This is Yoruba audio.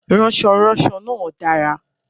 Ránsoránso náà dára